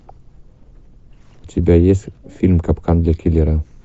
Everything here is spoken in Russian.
у тебя есть фильм капкан для киллера